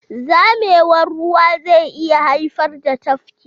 Zamewar ruwa zai iya haifar da tafki.